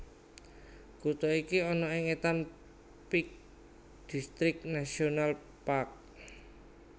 Kutha iki ana ing étan Peak District National Park